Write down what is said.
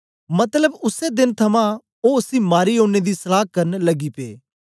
मतलब उसै देन थमां ओ उसी मारी ओड़ने दी सलहा करन लगी पे